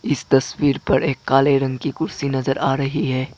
इस तस्वीर पर एक काले रंग की कुर्सी नजर आ रही है।